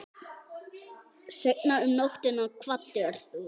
Seinna um nóttina kvaddir þú.